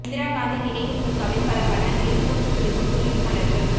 இந்திரா காந்தி நினைவு பூங்காவில் பல வண்ணங்களில் பூத்துக் குலுங்கும் துலீப் மலர்கள்